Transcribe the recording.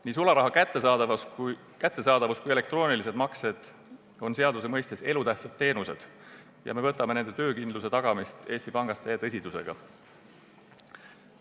Nii sularaha kättesaadavus kui ka elektroonilised maksed on seaduse mõistes elutähtsad teenused ja me suhtume nende töökindluse tagamisse Eesti Pangas täie tõsidusega.